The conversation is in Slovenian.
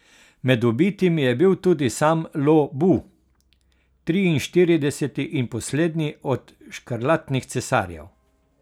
Med ubitimi je bil tudi sam Lo Bu, triinštirideseti in poslednji od škrlatnih cesarjev.